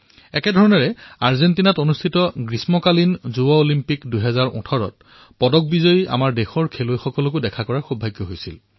এইদৰে আৰ্জেণ্টিনাত হোৱা ছামাৰ ইয়থ অলিম্পিকছ ২০১৮ চনৰ বিজেতাসকলৰ সৈতে সাক্ষাৎ কৰাৰ সৌভাগ্য লাভ কৰিলো